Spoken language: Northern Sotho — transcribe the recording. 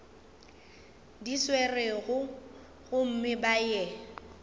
di swerego gomme ba ye